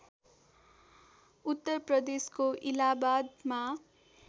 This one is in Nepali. उत्तर प्रदेशको इलाहाबादमा